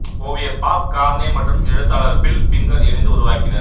ஓவியர் Bob Kane மற்றும் எழுத்தாளர் பில் பிங்கர் இணைந்து உருவாக்கினர்